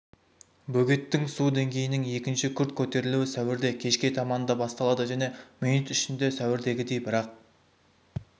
бөгеттің су деңгейінің екінші күрт көтерілуі сәуірде кешке таманда басталды және минут ішінде сәуірдегідей бірақ